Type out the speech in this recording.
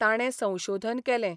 ताणे संशोधन केलें.